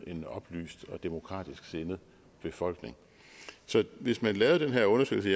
en oplyst og demokratisk sindet befolkning så hvis man lavede den her undersøgelse